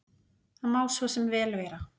Það má svo sem vel vera.